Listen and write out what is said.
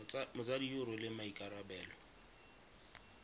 motsadi yo o rweleng maikarabelo